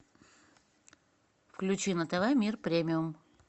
включи на тв мир премиум